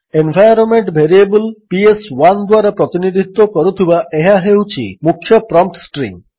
environment variable PS one ଦ୍ୱାରା ପ୍ରତିନିଧିତ୍ୱ କରୁଥିବା ଏହା ହେଉଛି ମୁଖ୍ୟ ପ୍ରମ୍ପ୍ଟ୍ ଷ୍ଟ୍ରିଙ୍ଗ୍